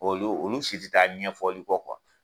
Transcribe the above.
K'olu olu si taa ɲɛfɔli kɔ